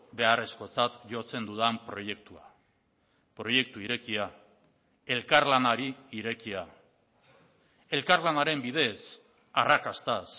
beharrezkotzat jotzen dudan proiektua proiektu irekia elkarlanari irekia elkarlanaren bidez arrakastaz